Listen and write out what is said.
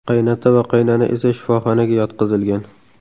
Qaynota va qaynona esa shifoxonaga yotqizilgan.